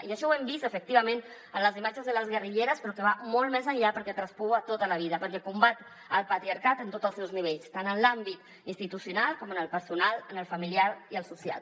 i això ho hem vist efectivament en les imatges de les guerrilleres però que va molt més enllà perquè traspua tota la vida perquè combat el patriarcat en tots els seus nivells tant en l’àmbit institucional com en el personal en el familiar i el social